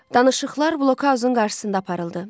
Danışıqlar Blokaun qarşısında aparıldı.